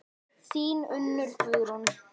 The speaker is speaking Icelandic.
Þín Unnur Guðrún.